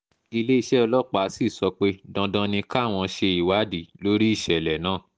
iléeṣẹ́ ọlọ́pàá sì sọ pé dandan ni káwọn ṣe ìwádìí lórí ìṣẹ̀lẹ̀ náà